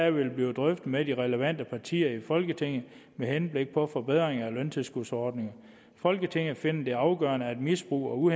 vil blive drøftet med de relevante partier i folketinget med henblik på forbedringer af løntilskudsordninger folketinget finder det afgørende at misbrug